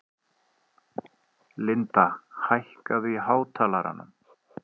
Linda, hækkaðu í hátalaranum.